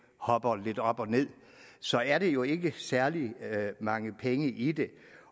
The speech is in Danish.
hopper lidt op og ned så er der jo ikke særlig mange penge i det